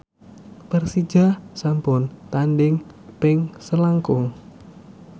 Persija sampun tandhing ping selangkung